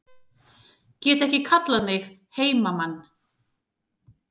Get ekki kallað mig heimamann